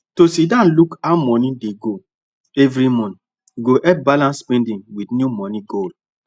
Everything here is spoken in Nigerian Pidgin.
to sit down look how money dey go every month go help balance spending with new money goal